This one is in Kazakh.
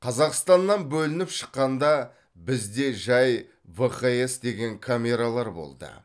қазақстаннан бөлініп шыққанда бізде жай вхс деген камералар болды